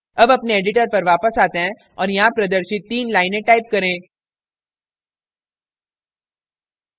अब अपने editor पर वापस आते हैं और यहाँ प्रदर्शित तीन लाइनें type करें